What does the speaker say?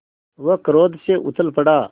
वह क्रोध से उछल पड़ा